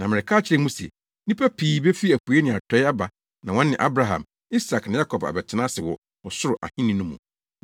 Na mereka akyerɛ mo se, nnipa pii befi apuei ne atɔe aba na wɔne Abraham, Isak ne Yakob abɛtena ase wɔ ɔsoro Ahenni no mu.